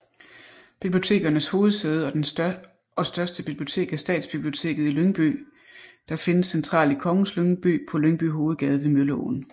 Bibliotekernes hovedsæde og største bibliotek er Stadsbiblioteket i Lyngby der findes centralt i Kongens Lyngby på Lyngby Hovedgade ved Mølleåen